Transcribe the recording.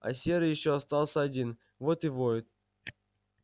а серый ещё остался один вот и воет